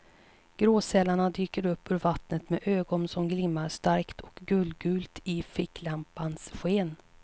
Gråsälarna dyker upp ur vattnet med ögon som glimmar starkt och guldgult i ficklampans sken.